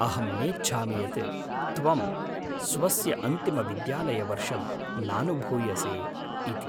अहं नेच्छामि यत् त्वं स्वस्य अन्तिमविद्यालयवर्षं नानुभूयसे इति।